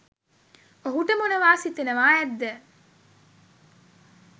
ඔහුට මොනවා සිතෙනවා ඇද්ද?